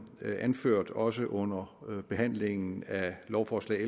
anført også under behandlingen af lovforslag